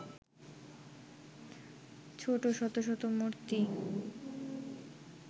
ছোট শত শত মূর্তি